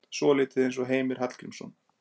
Svolítið eins og Heimir Hallgrímsson.